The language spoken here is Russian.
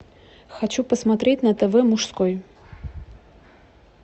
хочу посмотреть на тв мужской